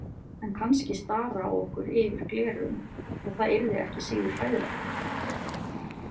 En kannski stara á okkur yfir gleraugun og það yrði ekki síður hræðilegt.